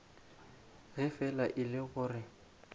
ge fela e le gore